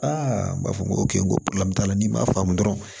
n b'a fɔ n ko t'a la n'i m'a faamu dɔrɔn